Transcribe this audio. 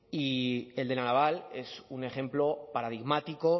y el de la naval es un ejemplo paradigmático